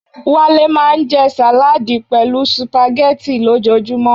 Wale maa nje salaadi pelu spaghetti lojoojumo